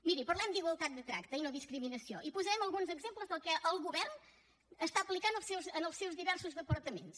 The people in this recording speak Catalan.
miri parlem d’igualtat de tracte i no discriminació i posarem alguns exemples del que el govern està aplicant en els seus diversos departaments